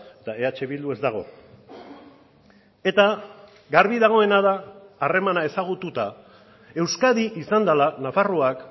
eta eh bildu ez dago eta garbi dagoena da harremana ezagututa euskadi izan dela nafarroak